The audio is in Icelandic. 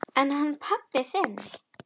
En hann pabbi þinn?